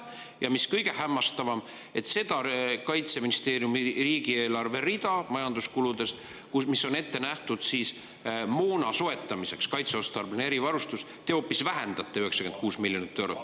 Ja mis kõige hämmastavam, seda riigieelarves olevat Kaitseministeeriumi majanduskulude rida "Kaitseotstarbeline erivarustus", mis on ette nähtud moona soetamiseks, te hoopis vähendate 96 miljonit eurot.